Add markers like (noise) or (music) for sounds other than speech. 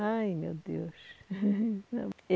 Ai, meu Deus. (laughs)